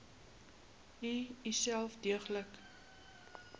u uself deeglik